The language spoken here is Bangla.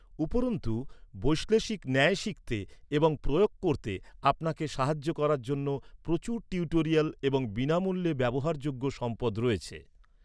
উপরন্তু, বৈশ্লেষিক ন্যায় শিখতে এবং প্রয়োগ করতে আপনাকে সাহায্য করার জন্য প্রচুর টিউটোরিয়াল এবং বিনামূল্যে ব্যবহারযোগ্য সম্পদ রয়েছে।